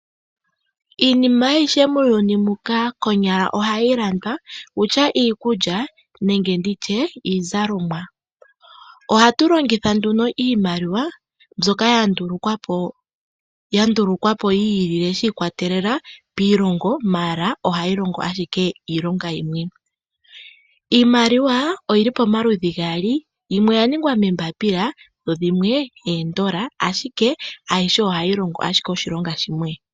Iinima ayihe muuyuni muka konyala ohayi landwa, okutya iikulya nenge nditye iizalomwa. Ohatu longitha nduno iimaliwa mbyoka ya ndulukwa po yi ilile shi ikwatelela piilongo ashike ohayi longo ashike iilonga yimwe. Iimaliwa oyili pamaludhi gaali, yimwe oya ningwa moombaapila, yo yimwe oondola, ashike ayihe ohayi longo ashike oshilonga shimwe.